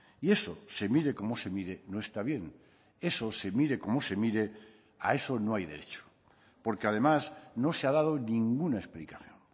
y eso se mire como se mire no está bien eso se mire como se mire a eso no hay derecho porque además no se ha dado ninguna explicación